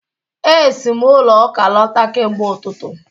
E si m ụlọ Ụka lọta kemgbe ụtụtụ